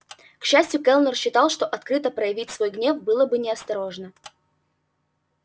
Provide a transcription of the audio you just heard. к счастью кэллнер считал что открыто проявить свой гнев было бы неосторожно